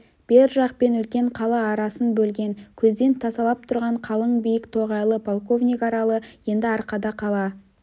бер жақ пен үлкен қала арасын бөлген көзден тасалап тұрған қалың биік тоғайлы полковник аралы енді арқада қала